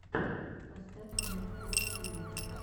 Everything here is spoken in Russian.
поставь мексбод тиви